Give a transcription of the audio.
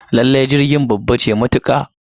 Lallai jirgin babba ce matuka